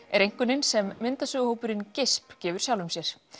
er einkunnin sem myndasögu hópurinn gefur sjálfum sér